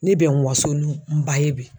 Ne bɛ n waso ni n ba ye bi.